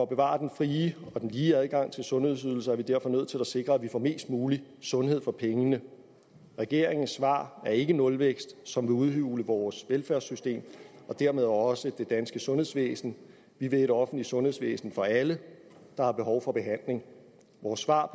bevare den frie og lige adgang til sundhedsydelser er vi derfor nødt til at sikre at vi får mest mulig sundhed for pengene regeringens svar er ikke en nulvækst som vil udhule vores velfærdssystem og dermed også det danske sundhedsvæsen vi vil et offentligt sundhedsvæsen for alle der har behov for behandling vores svar